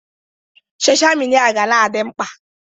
Sọsha mịdia ga-na adị mkpa.